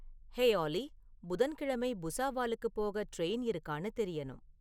hey ஆல்லி புதன்கிழமை புசாவாலுக்கு போக ட்ரெயின் இருக்கான்னு தெரியணும்